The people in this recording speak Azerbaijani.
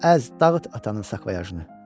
Əz, dağıt atanın sakvayajını.